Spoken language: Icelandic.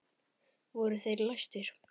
Voru þeir læstir.